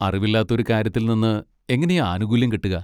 അറിവില്ലാത്ത ഒരു കാര്യത്തിൽ നിന്ന് എങ്ങനെയാ ആനുകൂല്യം കിട്ടുക.